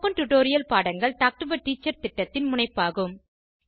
spoken tutorial பாடங்கள் talk to a teacher திட்டத்தின் முனைப்பாகும்